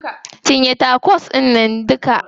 Cinye tacos ɗInnan duka.